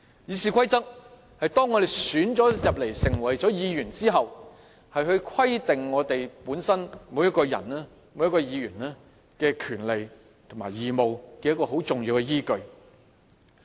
《議事規則》是當我們被選進入議會成為議員後規定我們每一個人和議員的權利和義務的重要依據。